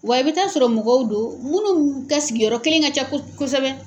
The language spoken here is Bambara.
Wa i bɛ taa sɔrɔ mɔgɔw do munnu ka sigiyɔrɔ kelen ka ca ko kosɛbɛ.